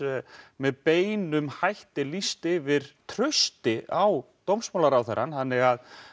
með beinum hætti lýst yfir trausti á dómsmálaráðherrann þannig